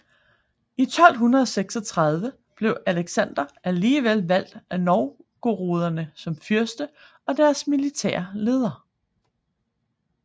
I 1236 blev Aleksandr alligevel valgt af novgoroderne som fyrste og deres militære leder